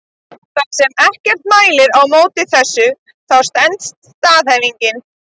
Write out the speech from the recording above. Þar sem ekkert mælir á móti þessu þá stenst staðhæfingin.